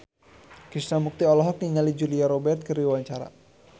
Krishna Mukti olohok ningali Julia Robert keur diwawancara